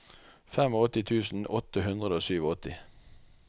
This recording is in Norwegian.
åttifem tusen åtte hundre og åttisju